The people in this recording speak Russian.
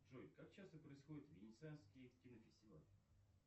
джой как часто происходит венецианский кинофестиваль